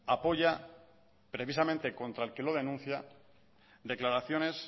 apoya precisamente contra el que lo denuncia declaraciones